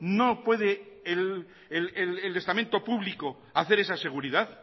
no puede el estamento público hacer esa seguridad